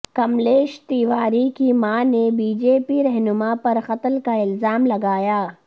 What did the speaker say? کملیش تیواری کی ماں نے بی جے پی رہنما پرقتل کا الزام لگایا